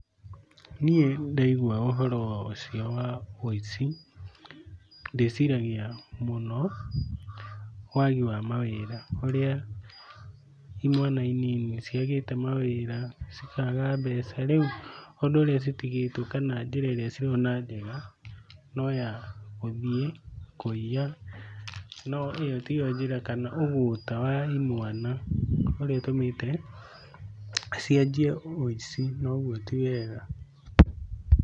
Niĩ ndaiigua ũhoro ũcio wa ũici, ndĩciragia mũno wagi wa mawĩra. Ũria imwana inini ciagĩte mawĩra, cikaga mbeca rĩu ũndũ ũrĩa citigĩtwo kana njĩra ĩrĩa cirona njega, no ya gũthiĩ kũiya, no ĩyo tiyo njĩra kana ũgũta wa imwana, ũrĩa ũtũmite cianjie ũici na ũguo ti wega.